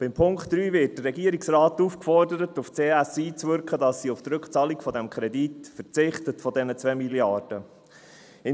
In Punkt 3 wird der Regierungsrat dazu aufgefordert, auf die CS einzuwirken, damit sie auf die Rückzahlung dieses Kredits von 2 Milliarden verzichtet.